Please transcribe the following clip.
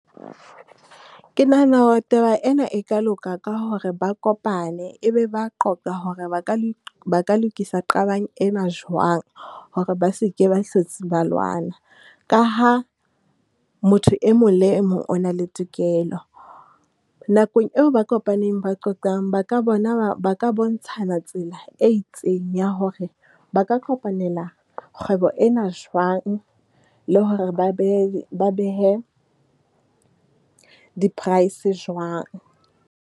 Ke nahana hore taba ena e ka loka ka hore ba kopane, e be ba a qoqa hore ba ka le lokisa qabang ena jwang hore ba seke ba hlotse ba lwana. Ka ha motho e mong le e mong o na le tokelo. Nakong eo ba kopaneng ba qoqang ba ka bona, ba ba bontshana tsela e itseng ya hore ba ka kopanela kgwebo ena jwang le hore ba behe, ba behe di-price jwang?